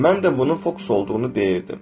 Mən də bunun fokus olduğunu deyirdim.